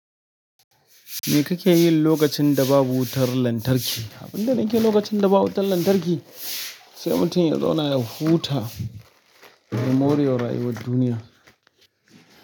Me kake yi lokacin da babu wutar lantarki? Abin da nake yi lokacin da ba wutar lantarki sai mutum ya zauna ya huta ya more wa rayuwar duniya.